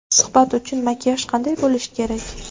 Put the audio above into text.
Suhbat uchun makiyaj qanday bo‘lishi kerak?